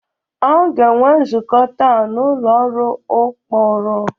A ga-enwe nzukọ taa n'ụlọ ọrụ ụkpụrụ